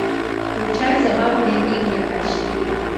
включай забавные игры айч ди